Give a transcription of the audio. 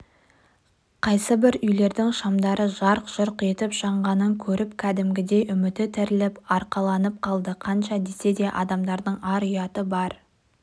қайсыбір үйлердің шамдары жарқ-жұрқ етіп жанғанын көріп кәдімгідей үміті тіріліп арқаланып қалды қанша десе де адамдардың ар-ұяты бар